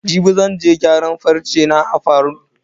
Jibi zan je gyaran farce na a salon.